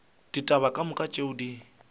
ditaba ka moka tšeo di